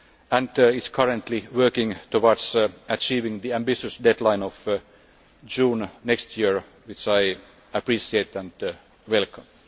and is currently working towards achieving the ambitious deadline of June next year, which I appreciate and welcome.